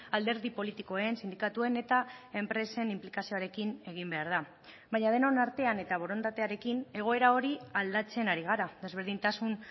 alderdi politikoen sindikatuen eta enpresen inplikazioarekin egin behar da baina denon artean eta borondatearekin egoera hori aldatzen ari gara desberdintasun